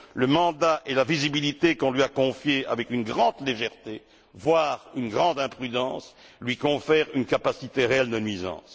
Le mandat et la visibilité qu'on lui a confiés avec une grande légèreté, voire une grande imprudence, lui confèrent une capacité réelle de nuisance.